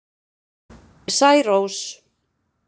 Særós